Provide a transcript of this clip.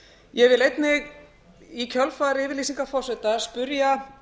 ég vil einnig í kjölfar yfirlýsingar forseta spyrja